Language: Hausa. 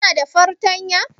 Kuna da fartanya?